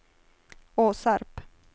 Åsarp